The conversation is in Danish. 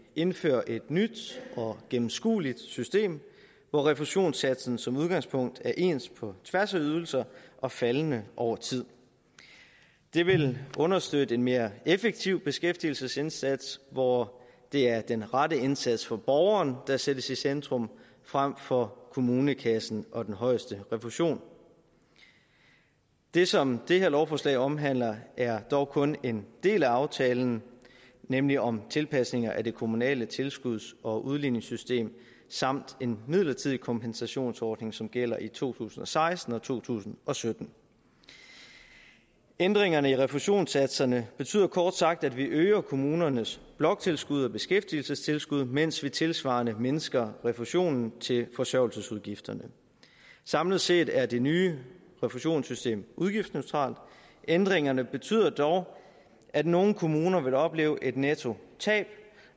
indfører et nyt og gennemskueligt system hvor refusionssatsen som udgangspunkt er ens på tværs af ydelser og faldende over tid det vil understøtte en mere effektiv beskæftigelsesindsats hvor det er den rette indsats for borgeren der sættes i centrum frem for kommunekassen og den højeste refusion det som det her lovforslag omhandler er dog kun en del af aftalen nemlig om tilpasninger af det kommunale tilskuds og udligningssystem samt en midlertidig kompensationsordning som gælder i to tusind og seksten og to tusind og sytten ændringerne i refusionssatserne betyder kort sagt at vi øger kommunernes bloktilskud og beskæftigelsestilskud mens vi tilsvarende mindsker refusionen til forsørgelsesudgifterne samlet set er det nye refusionssystem udgiftsneutralt ændringerne betyder dog at nogle kommuner vil opleve et nettotab